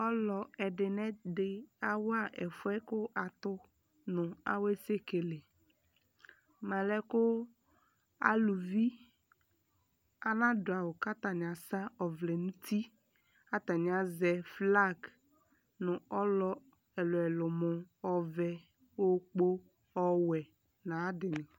Ɔlɔ ɛdinɛdi awa ɛfuɛ ku atu nawɛsɛkele malɛ kuu aluvi anaduawu katani asa ɔvlɛ nuti kataniaʒɛ flag nu ɔlɔ ɛluɛlu mu ɔvɛɛ, okpo, ɔwɛɛ nayadini